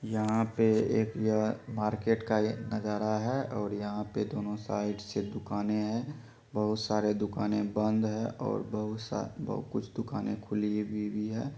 यहाँ पे एक यहा मार्केट का ये नजारा है और यहाँ पे दोनों साइड में दुकाने है बहुत सारे दुकाने बंद है और बहुत सा कुछ दुकाने खुली भी हुई है।